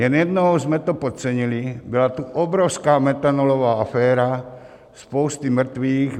Jen jednou jsme to podcenili, byla tu obrovská metanolová aféra, spousty mrtvých.